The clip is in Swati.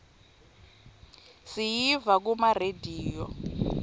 siyiva kuma rediyo